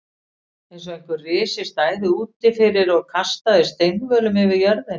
Eins og einhver risi stæði úti fyrir og kastaði steinvölum yfir jörðina.